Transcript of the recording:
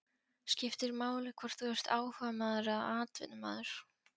Skiptir máli hvort þú ert áhugamaður eða atvinnumaður?